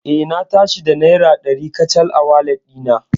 Eh, Na tashi da naira dari kacal a walet ɗina.